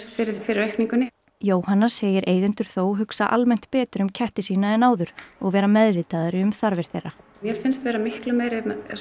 fyrir fyrir aukningunni Jóhanna segir eigendur þó hugsa almennt betur um ketti sína en áður og vera meðvitaðri um þarfir þeirra mér finnst vera miklu meiri